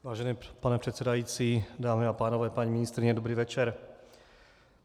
Vážený pane předsedající, dámy a pánové, paní ministryně, dobrý večer.